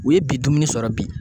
U ye bi dumuni sɔrɔ bi.